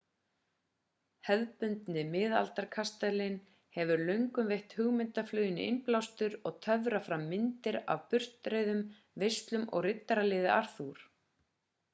hefðbundni miðaldakastalinn hefur löngum veitt hugmyndafluginu innblástur og töfrað fram myndir af burtreiðum veislum og riddaraliði arthur